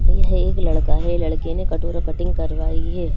एक लड़का है लड़के ने कटोरा कटिंग करवाई है।